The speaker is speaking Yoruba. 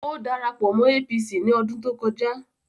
Ó dara pọ̀ mọ́ APC ní ọdún tó kọjá